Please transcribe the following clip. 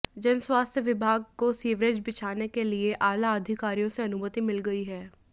जन स्वास्थ्य विभाग को सीवरेज बिछाने के लिए आला अधिकारियों से अनुमति मिल गई है